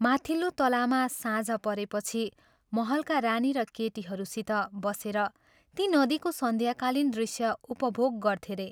माथिल्लो तलामा साँझ परेपछि महलका रानी र केटीहरूसित बसेर ती नदीको सन्ध्याकालीन दृश्य उपभोग गर्थे रे।